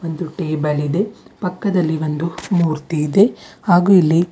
ಒಂದು ಟೇಬಲ್ ಇದೆ ಪಕ್ಕದಲ್ಲಿ ಒಂದು ಮೂರ್ತಿ ಇದೆ ಹಾಗು ಇಲ್ಲಿ --